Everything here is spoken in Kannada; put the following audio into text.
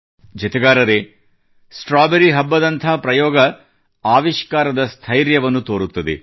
ಜತೆಗಾರರೇ ಸ್ಟ್ರಾಬೆರಿ ಹಬ್ಬದಂಥ ಪ್ರಯೋಗ ಆವಿಷ್ಕಾರದ ಸ್ಥೈರ್ಯವನ್ನು ತೋರುತ್ತದೆ